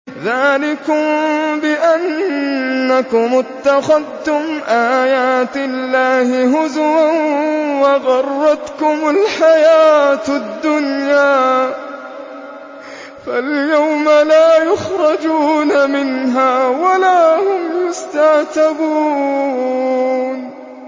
ذَٰلِكُم بِأَنَّكُمُ اتَّخَذْتُمْ آيَاتِ اللَّهِ هُزُوًا وَغَرَّتْكُمُ الْحَيَاةُ الدُّنْيَا ۚ فَالْيَوْمَ لَا يُخْرَجُونَ مِنْهَا وَلَا هُمْ يُسْتَعْتَبُونَ